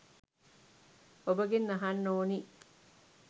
ඔබගෙන් අහන්න ඕනි.